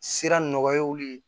Sira nɔgɔyaw de ye